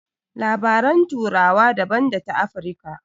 Labaran turawa daban da ta Afirka.